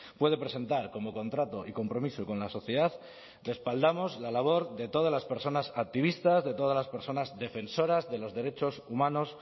puede presentar como contrato y compromiso con la sociedad respaldamos la labor de todas las personas activistas de todas las personas defensoras de los derechos humanos